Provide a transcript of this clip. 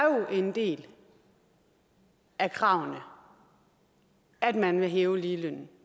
jo en del af kravene at man vil hæve ligelønnen